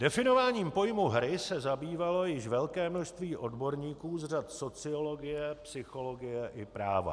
Definováním pojmu hry se zabývalo již velké množství odborníků z řad sociologie, psychologie i práva.